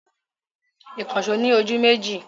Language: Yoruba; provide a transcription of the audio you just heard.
Ìkànṣọ́ ni ojú méjì.